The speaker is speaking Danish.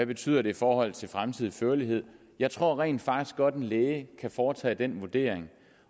betyder i forhold til fremtidig førlighed jeg tror rent faktisk godt at en læge kan foretage den vurdering